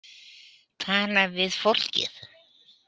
Tala við fólkið.